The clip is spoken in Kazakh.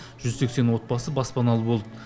жүз сексен отбасы баспаналы болды